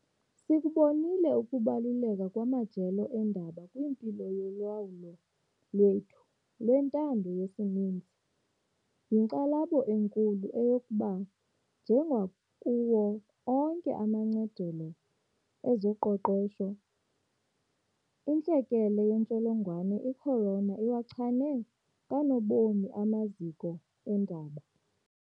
Sikubonile ukubaluleka kwamajelo eendaba kwimpilo yolawulo lwethu lwentando yesininzi, yinkxalabo enkulu eyokuba njengakuwo onke amancadelo ezoqoqosho, intlekele yentsholongwane i-corona iwachane kanobomi amaziko eendaba.